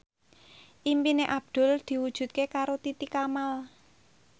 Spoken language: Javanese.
impine Abdul diwujudke karo Titi Kamal